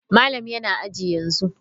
Malam yana aji yanzu.